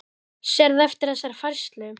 Hjörtur Hjartarson: Sérðu eftir þessari færslu?